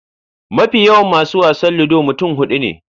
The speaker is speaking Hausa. Mafi yawan masu wasan Ludo mutum huɗu ne.